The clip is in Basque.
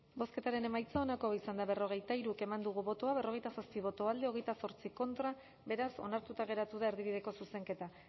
bozketaren emaitza onako izan da hirurogeita hamabost eman dugu bozka berrogeita zazpi boto alde veintiocho contra beraz onartuta geratu da erdibideko zuzenketa